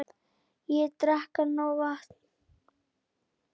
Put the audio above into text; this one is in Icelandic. Og drekka nóg vatn.